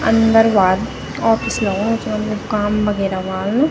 अंदर बाहर ओफिस लगणू च काम वगेरह ह्वाल।